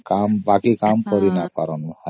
ବାକି କାମ କରି ପାରିବ ନାହଁ